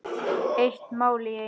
Eitt mál í einu.